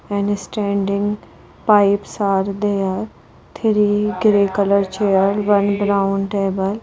And standing pipes are there three grey colour chair one brown table.